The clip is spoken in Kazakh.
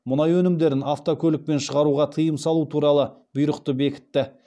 мұнай өнімдерін автокөлікпен шығаруға тыйым салу туралы бұйрықты бекітті